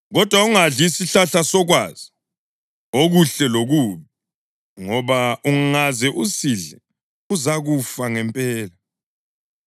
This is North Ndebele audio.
kodwa ungadli isihlahla sokwazi okuhle lokubi, ngoba ungaze usidle uzakufa ngempela.”